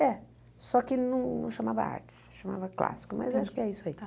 É, só que não chamava artes, chamava clássico, mas acho que é isso aí.